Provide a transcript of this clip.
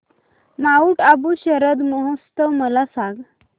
Mount Abu Sharad Mahotsav मला सांग